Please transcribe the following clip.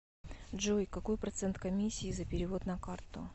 джой какой процент комиссии за перевод на карту